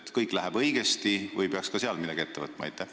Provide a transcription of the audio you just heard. Kas kõik läheb õigesti või peaks ka seal midagi ette võtma?